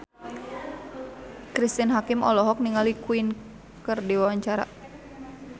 Cristine Hakim olohok ningali Queen keur diwawancara